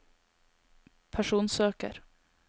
personsøker